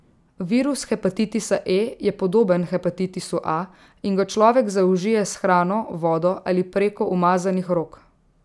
Virus hepatitisa E je podoben hepatitisu A in ga človek zaužije s hrano, vodo ali preko umazanih rok.